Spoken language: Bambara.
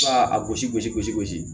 a gosi gosi gosi gosi